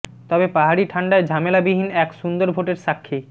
তবে পাহাড়ি ঠাণ্ডায় ঝামেলা বিহীন এক সুন্দর ভোটের সাক্ষী